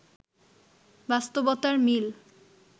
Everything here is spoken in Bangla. বাস্তবতার মিল